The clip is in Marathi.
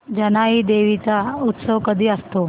जानाई देवी चा उत्सव कधी असतो